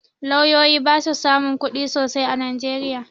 Lauyoyi ba su samun kuɗi sosai a najeriya